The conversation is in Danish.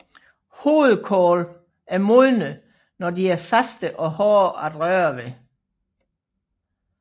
Hovedkål er modne når de er faste og hårde at røre ved